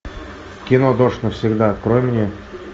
кино дождь навсегда открой мне